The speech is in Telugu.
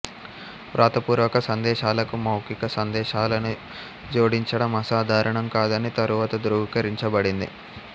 వ్రాతపూర్వక సందేశాలకు మౌఖిక సందేశాలను జోడించడం అసాధారణం కాదని తరువాత ధ్రువీకరించబడింది